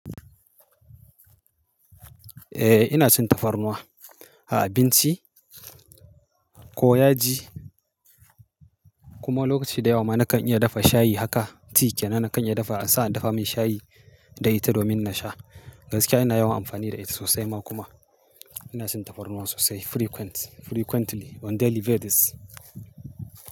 Eh ina son tafarnuwa, a abinci ko yaji kuma lokaci da yawa ma na kan iya dafa shayi haka tea yana na kan iya dafa, an sa a dafa min shayi da ita domin na sha. Gaskiya ina yawan amfani da ita sosai ma kuma ina son tafarnuwa sosai frequent, frequently on daily basis.